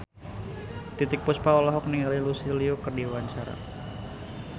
Titiek Puspa olohok ningali Lucy Liu keur diwawancara